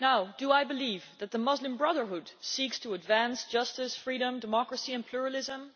Do I believe that the Muslim Brotherhood seeks to advance justice, freedom, democracy and pluralism?